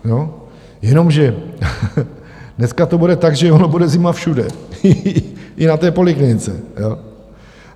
Jenomže dneska to bude tak, že ona bude zima všude, i na té poliklinice.